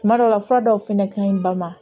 Kuma dɔ la fura dɔw fɛnɛ ka ɲi ba ma